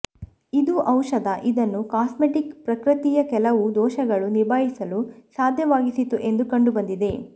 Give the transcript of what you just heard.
ಇದು ಔಷಧ ಇದನ್ನು ಕಾಸ್ಮೆಟಿಕ್ ಪ್ರಕೃತಿಯ ಕೆಲವು ದೋಷಗಳು ನಿಭಾಯಿಸಲು ಸಾಧ್ಯವಾಗಿಸಿತು ಎಂದು ಕಂಡುಬಂದಿದೆ